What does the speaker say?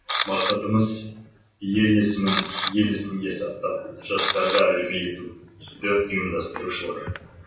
мақсатымыз ел есімін ел есінде сақтап жастарға үлгі ету дейді ұйымдастырушылар